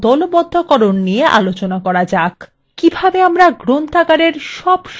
কিভাবে আমরা library সকল সদস্যদের সংখ্যা গণনা করতে পারি